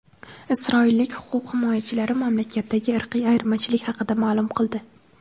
Isroillik huquq himoyachilari mamlakatdagi irqiy ayirmachilik haqida ma’lum qildi.